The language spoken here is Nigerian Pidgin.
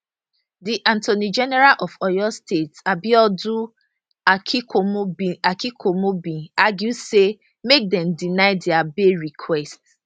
di attorney general of oyo state abiodun aikomo bin aikomo bin argue say make dem deny dia bail requests